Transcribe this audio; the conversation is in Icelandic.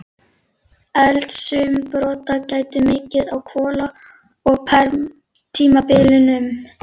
Eldsumbrota gætti mikið á kola- og perm-tímabilunum.